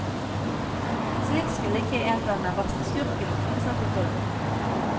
Slik skulle ikke en gang den verste skurken oppføre seg på film.